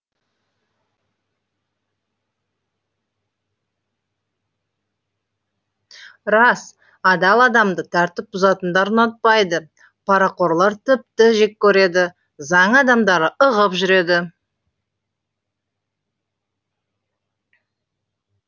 рас адал адамды тәртіп бұзатындар ұнатпайды парақорлар тіпті жек көреді заң адамдары ығып жүреді